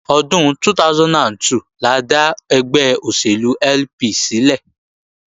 Ọdún 2002 la dá ẹgbẹ́ òṣèlú LP sílẹ̀